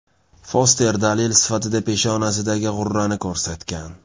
Foster dalil sifatida peshonasidagi g‘urrani ko‘rsatgan.